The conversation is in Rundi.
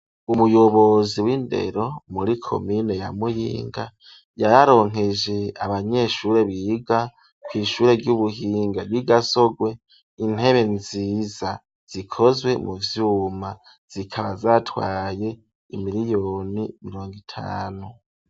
Umuyobozi w'indero muri komine ya muyinga, yararonkeje abanyeshure biga kw'ishure ry'ubuhinga ry'I gasogwe intebe nziza zikozwe mu vyuma zikaba zatwaye imiliyoni mirongo itanu.